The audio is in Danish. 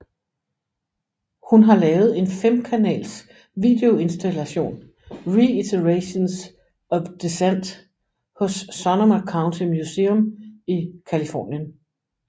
Hun har lavet en femkanals videoinstallation Reiterations of Dissent hos Sonoma County Museum i Californien